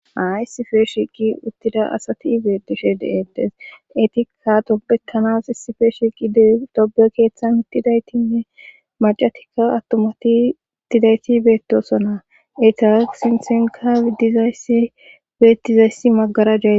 Haa isipe shiiqi uttida asati beetishe deedes eti ka dobetanas issife shiiqi de dobe keeththan ittidaytinne macatikka attomati ittidayti beetosona eta sinsenka iddizayssi beettizayssi maggarajeee